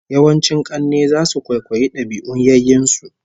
Yawancin kanne zasu kwaikwayi dabi'un yayyen su